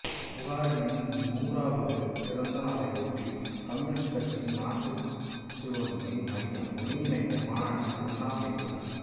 புகாரினின் நூறாவது பிறந்தநாளை ஒட்டி கம்யூனிஸ்ட் கட்சியின் மார்சியலெனினிய மையம் ஒருங்கிணைத்த மாநாட்டில் அன்னா பேசினார்